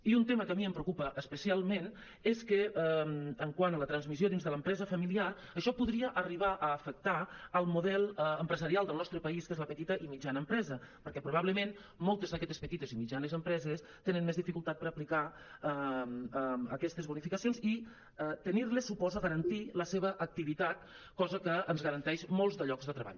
i un tema que a mi em preocupa especialment és que quant a la transmissió dins de l’empresa familiar això podria arribar a afectar el model empresarial del nostre país que és la petita i mitjana empresa perquè probablement moltes d’aquestes petites i mitjanes empreses tenen més dificultat per aplicar aquestes bonificacions i tenir·les suposa garantir la seva activitat cosa que ens garanteix molts de llocs de treball